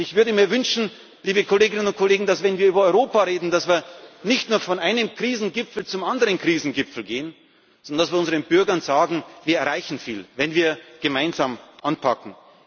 Europa. Und ich würde mir wünschen, liebe Kolleginnen und Kollegen, dass wir, wenn wir über Europa reden, nicht nur von einem Krisengipfel zum anderen Krisengipfel gehen, sondern dass wir unseren Bürgern sagen Wir erreichen viel, wenn wir gemeinsam anpacken.